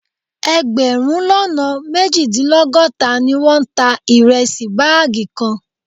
Ẹgbẹ̀rún lọ́nà méjìdínlọ́gọ́ta ni wọ́n ta ìrẹsì báàgì kan